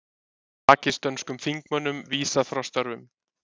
Pakistönskum þingmönnum vísað frá störfum